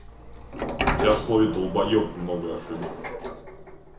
у тебя в слове долбоёб много ошибок